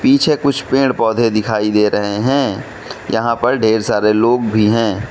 पीछे कुछ पेड़ पौधे दिखाई दे रहे हैं यहां पर ढेर सारे लोग भी हैं।